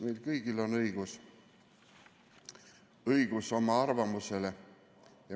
Meil kõigil on õigus oma arvamusele.